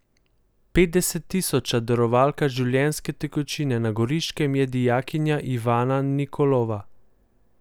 Petdeset tisoča darovalka življenjske tekočine na Goriškem je dijakinja Ivana Nikolova.